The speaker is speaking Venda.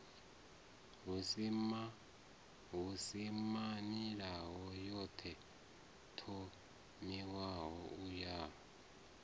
husimamilayo ḓo thomiwaho u ya